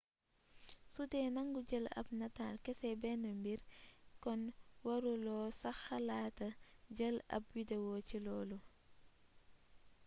sudee nangu jël ab nataal kese benn mbir kon waru loo sax xalaata jël ab wideo ci loolu